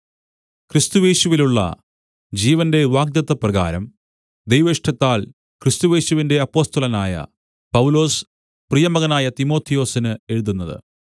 ക്രിസ്തുയേശുവിലുള്ള ജീവന്റെ വാഗ്ദത്തപ്രകാരം ദൈവേഷ്ടത്താൽ ക്രിസ്തുയേശുവിന്റെ അപ്പൊസ്തലനായ പൗലൊസ് പ്രിയമകനായ തിമൊഥെയൊസിന് എഴുതുന്നത്